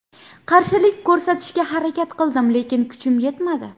Qarshilik ko‘rsatishga harakat qildim, lekin kuchim yetmadi.